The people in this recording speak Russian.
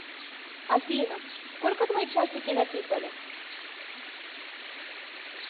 афина сколько твои часики натикали